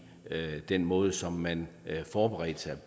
den måde som man forberedte sig